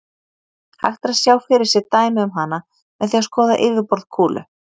Hægt er að sjá fyrir sér dæmi um hana með því að skoða yfirborð kúlu.